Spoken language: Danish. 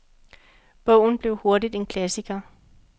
Bogen blev hurtigt en klassiker.